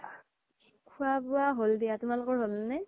খুৱা বুৱা হ্'ল দিয়া তোমালোকৰ হ্'ল নে ?